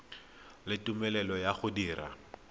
le tumelelo ya go dira